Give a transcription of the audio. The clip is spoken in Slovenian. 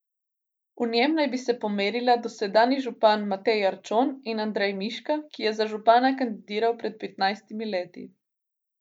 V njem naj bi se pomerila dosedanji župan Matej Arčon in Andrej Miška, ki je za župana kandidiral pred petnajstimi leti.